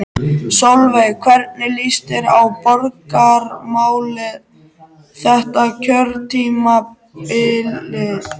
Sólveig: Hvernig líst þér á borgarmálin þetta kjörtímabilið?